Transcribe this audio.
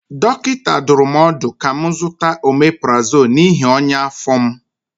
Dọkịta dụrụ m ọdụ ka m zụta ọmeprazọlụ n'ihi ọnya afọ m.